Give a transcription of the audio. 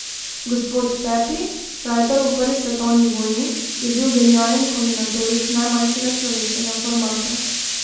Gospod Pepi, frajtar v prvi svetovni vojni, je bil genialen kombinatorik najmanjšega človeškega formata.